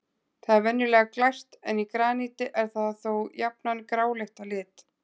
Það er venjulega glært en í graníti er það þó jafnan gráleitt að lit.